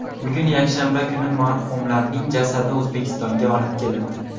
Bugun, yakshanba kuni marhumlarning jasadi O‘zbekistonga olib kelindi.